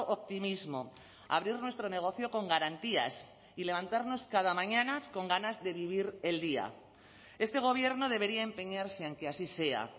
optimismo abrir nuestro negocio con garantías y levantarnos cada mañana con ganas de vivir el día este gobierno debería empeñarse en que así sea